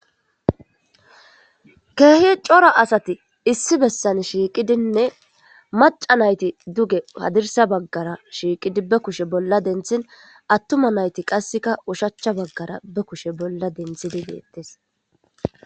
Keehi cora asati issi bessan shiiqidinne maca nayti duge padirsa baggara shiiqidi be kushe bolla denthin attuma nayti qasseka ushachcha baggara be kushe bolla denthidi deettes